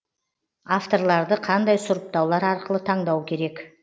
авторларды қандай сұрыптаулар арқылы таңдау керек